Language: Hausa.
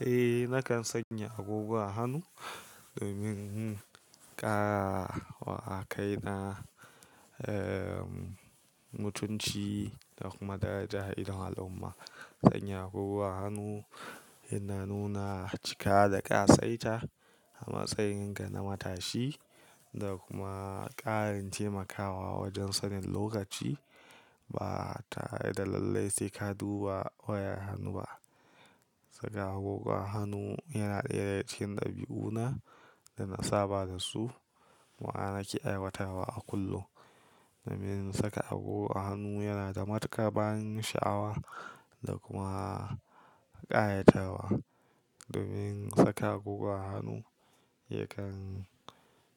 Eh nakan sanya agogo a hannu domin ƙara wa a kaina, eh mutunci da kuma daraja idon al'umma. Sanya agogo a hannu yana nuna cika da ƙasaita a matsayinka na matashi da kuma ƙarin taimakawa wajen sanin lokaci ba tare da lallai sai ka duba wayar hannu ba. Saka agogo a hannu yana ɗaya cikin dabi'una da na saba da su ma'ana nake aiwatarwa a kullum. Domin saka agogo a hannu yana da matuƙar ban sha'awa da kuma ƙayatarwa. Domin saka agogo a hannu yakan